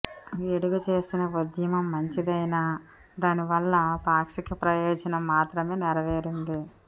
గిడుగు చేసిన ఉద్యమం మంచిదైనా దానివల్ల పాక్షిక ప్రయోజనం మాత్రమే నెరవేరింది